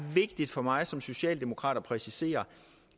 vigtigt for mig som socialdemokrat at præcisere